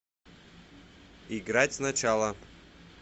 играть сначала